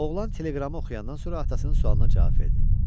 Oğlan teleqramı oxuyandan sonra atasının sualına cavab verdi.